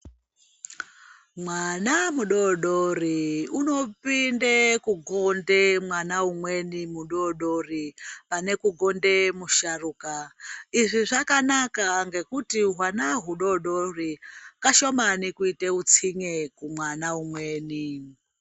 Mwana mudoodori unopinde kukunde mwana umweni mudoodori pane kukunda musharuka, izvi zvakanaka ngokuti wana hudoodori kashomani kuite utsinye kumwana umweni.